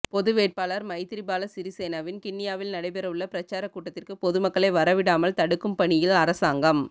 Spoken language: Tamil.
பொது வேட்பாளர் மைத்திரிபால சிறிசேனவின் கிண்ணியாவில் நடைபெறவுள்ள பிரச்சாரக் கூட்டத்திற்கு பொதுமக்களை வர விடாமல் தடுக்கும் பணியில் அரசாங்கம்